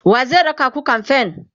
wa zai raka ku kamfen?